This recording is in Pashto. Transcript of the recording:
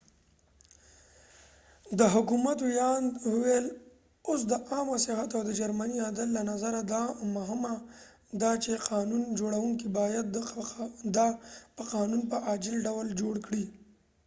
د حکومت وياند وويل اوس د عامه صحت او د جرمی عدل له نظره دا مهمه ده چې قانون جوړونکې باید دا په قانون په عاجل ډول جوړ کړي